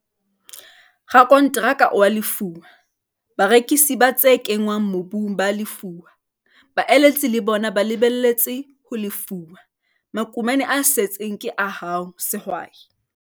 Rakonteraka o a lefuwa, barekisi ba tse kenngwang mobung ba a lefuwa, baeletsi le bona ba lebelletse ho lefuwa - makumane a setseng ke a hao, sehwai.